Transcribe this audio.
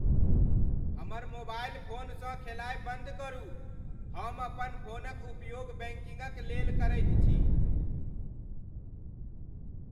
हमर मोबाइल फोनसँ खेलायब बन्द करू। हम अपन फोनक उपयोग बैंकिंगक लेल करैत छी।